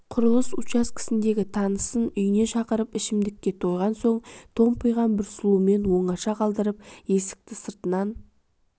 құрылыс учаскесіндегі танысын үйіне шақырып ішімдікке тойған соң томпиған бір сұлумен оңаша қалдырып есікті сыртынан